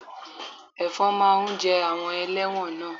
Ẹ̀fọn máa ń jẹ àwọn ẹlẹ́wọ̀n náà